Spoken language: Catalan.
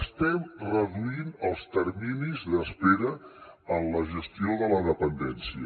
estem reduint els terminis d’espera en la gestió de la dependència